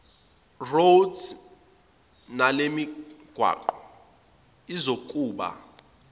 roads nalemigwaqo izokuba